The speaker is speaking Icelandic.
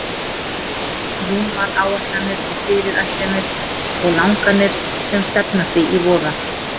Rúmar áætlanir og fyrirætlanir og langanir sem stefna því í voða.